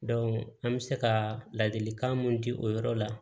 an bɛ se ka ladilikan mun di o yɔrɔ la